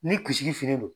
Ni kisili fililen don